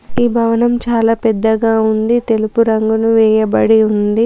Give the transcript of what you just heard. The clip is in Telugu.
ఈ భవనం చాలా పెద్దగా ఉంది తెలుపు రంగును వేయబడి ఉంది.